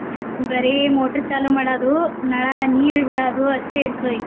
ಬರೆ motor ಚಾಲೋ ಮಾಡೋದು ನಳಾ ನೀರ್ ಬಿಡೋದು ಅಷ್ಟೇ ಇರ್ತದ ಈಗ.